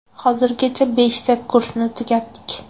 Hozirgacha beshta kursni tugatdik.